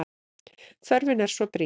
Þörfin er svo brýn.